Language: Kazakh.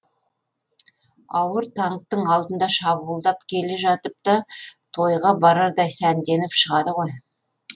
ауыр танктің алдында шабуылдап келе жатып та тойға барардай сәнденіп шығады ғой